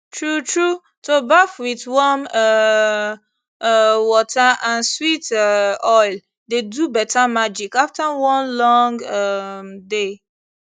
truetrue to baff with warm um um water and sweet um oil dey do better magic after one long um day